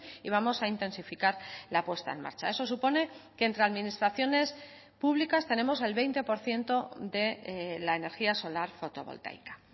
y vamos a intensificar la puesta en marcha eso supone que entre administraciones públicas tenemos el veinte por ciento de la energía solar fotovoltaica